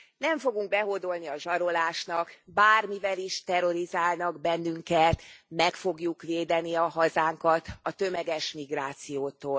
Nem fogunk behódolni a zsarolásnak, bármivel is terrorizálnak bennünket, meg fogjuk védeni a hazánkat a tömeges migrációtól.